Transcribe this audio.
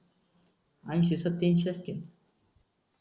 अंशी सत्यांशी असते.